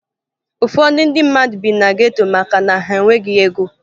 Ụfọdụ ndị mmadụ bi na geto maka na ha e nweghi ego